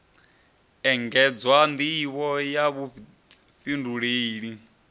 engedzwa nd ivho ya vhufhinduleli